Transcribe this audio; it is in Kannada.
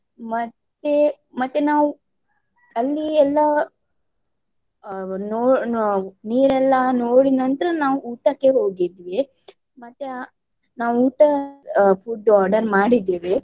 ಮತ್ತೆ ಮತ್ತೆ ನಾವು ಅಲ್ಲಿ ಎಲ್ಲ ಆಹ್ ನೋ~ ನೋ~ ನೀರೆಲ್ಲ ನೋಡಿದ ನಂತರ ನಾವು ಊಟಕ್ಕೆ ಹೋಗಿದ್ವಿ. ಮತ್ತೆ ಆ ನಾವು ಊಟ ಆಹ್ food order ಮಾಡಿದ್ದೇವೆ.